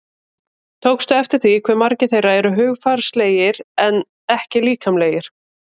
Tókstu eftir því hve margir þeirra eru hugarfarslegir en ekki líkamlegir?